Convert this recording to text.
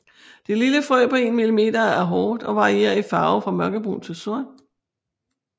Det lille frø på 1 mm er hårdt og varierer i farve fra mørkebrunt til sort